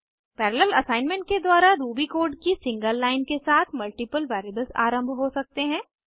parallel assignment के द्वारा Ruby code की सिंगल लाइन के साथ मल्टीपल वेरिएबल्स आरम्भ हो सकते हैं